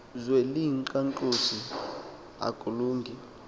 zwe liyinkqantosi akulungi